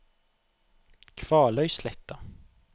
Kvaløysletta